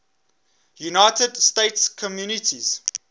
united states communities